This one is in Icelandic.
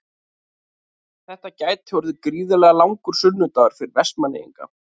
Þetta gæti orðið gríðarlega langur sunnudagur fyrir Vestmannaeyinga.